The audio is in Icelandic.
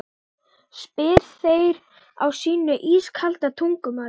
spyrja þeir á sínu ískalda tungumáli.